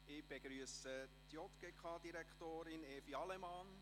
– Ich begrüsse JGK-Direktorin Evi Allemann.